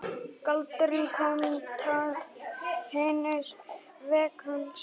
Galdurinn kostaði hins vegar sitt.